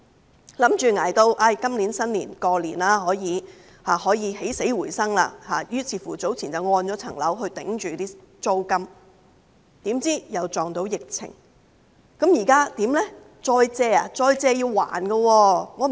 他們以為捱到今年農曆新年，便可以起死回生，於是早前把物業抵押以支付租金，誰料又遇上疫情，現在怎麼辦呢？